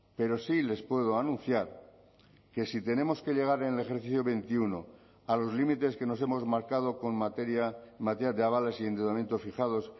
referentes pero sí les puedo anunciar que si tenemos que llegar en el ejercicio veintiuno a los límites que nos hemos marcado con materia de avales y endeudamiento